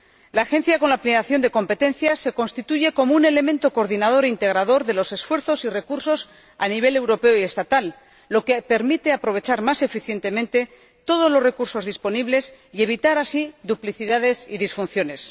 La Agencia, con la ampliación de competencias, se constituye como un elemento coordinador e integrador de los esfuerzos y recursos a nivel europeo y estatal, lo que permite aprovechar más eficientemente todos los recursos disponibles y evitar así duplicidades y disfunciones.